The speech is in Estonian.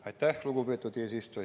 Aitäh, lugupeetud eesistuja!